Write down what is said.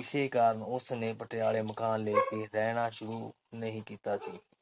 ਇਸੇ ਕਾਰਨ ਉਸਨੇ ਪਟਿਆਲੇ ਮਕਾਨ ਲੈ ਕੇ ਰਹਿਣਾ ਸ਼ੁਰੂ ਨਹੀਂ ਕੀਤਾ ਸੀ।